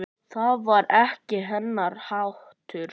Það var ekki hennar háttur.